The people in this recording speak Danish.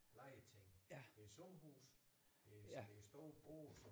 Legeting det sommerhus det det store både